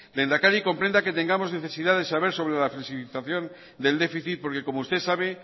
lehendakari comprenda que tengamos necesidad de saber sobre la flexibilización del déficit porque como usted sabe